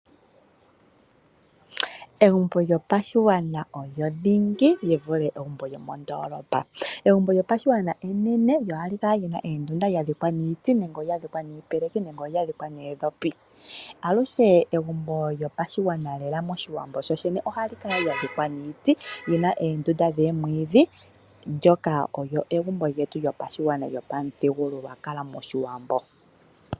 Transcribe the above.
Egumbo lyopashigwana olyo dhingi lyi vule lyomondoolopa. Egumbo lyopashiwambo enene kyo ohali kala lyadhikwa niiti, iipeleki noondhopi. Egumbo lyopashigwana lyolyene moshiwambo ohali kala lyadhikwa niiti lyina oondunda dhaningwa nomwiidhi ndyoka olyo egumbo lyopashigwana lyopamuthigululwakalo moshiwambo.